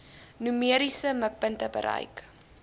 numeriese mikpunte bereik